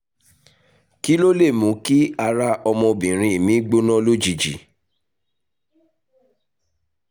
kí ló lè lè mú kí ara ọmọbìnrin mi gbóná lójijì?